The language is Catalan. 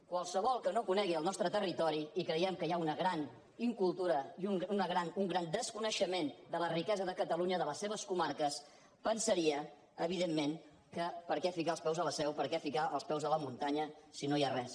qualsevol que no conegui el nostre territori i creiem que hi ha una gran incultura i un gran desconeixement de la riquesa de catalunya de les seves comarques devia pensar evidentment que per què ficar els peus a la seu per què ficar els peus a la muntanya si no hi ha res